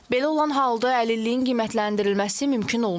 Belə olan halda əlilliyin qiymətləndirilməsi mümkün olmur.